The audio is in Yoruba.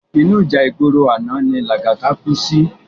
Inú íjà igbóró àná ni Lagata kú si